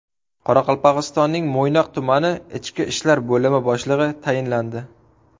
Qoraqalpog‘istonning Mo‘ynoq tumani Ichki ishlar bo‘limi boshlig‘i tayinlandi.